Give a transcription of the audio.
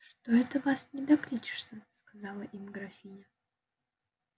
что это вас не докличешься сказала им графиня